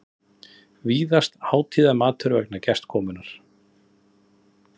vísast hátíðarmatur vegna gestakomunnar.